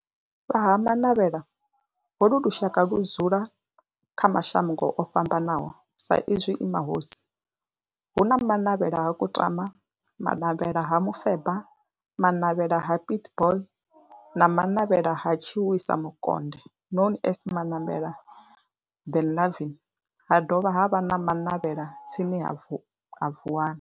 Vha Ha-Manavhela, holu ndi lushaka ludzula kha mashango ofhambanaho sa izwi e mahosi hu na Manavhela ha Kutama, Manavhela ha Mufeba, Manavhela ha Pietboi na Manavhela ha Tshiwisa Mukonde known as Manavhela Benlavin ha dovha havha na Manavhela tsini na Vuwani.